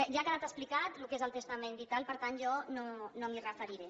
ja ha quedat explicat el que és el testament vital per tant jo no m’hi referiré